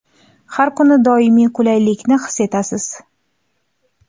Har kuni doimiy qulaylikni his etasiz.